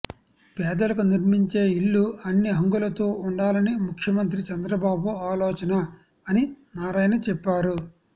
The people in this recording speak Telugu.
పేదలకు నిర్మించే ఇళ్లు అన్ని హంగులతో ఉండాలని ముఖ్యమంత్రి చంద్రబాబు ఆలోచన అని నారాయణ చెప్పారు